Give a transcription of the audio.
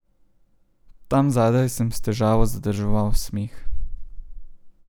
Tam zadaj sem s težavo zadrževal smeh.